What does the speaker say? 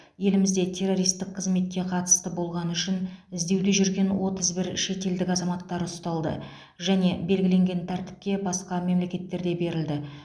елімізде террористік қызметке қатысы болғаны үшін іздеуде жүрген отыз бір шетелдік азаматтары ұсталды және белгіленген тәртіпте басқа мемлекеттерге берілді